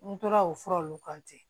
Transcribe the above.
N tora o fura nunnu kan ten